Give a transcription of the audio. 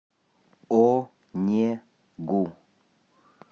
онегу